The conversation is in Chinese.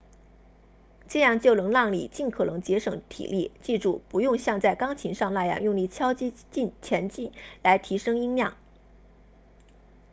这样就能让你尽可能节省体力记住不用像在钢琴上那样用力敲击琴键来提升音量